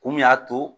Kun min y'a to